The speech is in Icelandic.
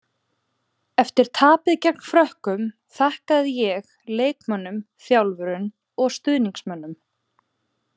Eftir tapið gegn Frökkum, þakkaði ég leikmönnum, þjálfurum og stuðningsmönnunum.